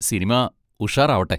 Cinema ഉഷാറാവട്ടെ!